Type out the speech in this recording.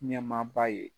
Ɲɛmaaba ye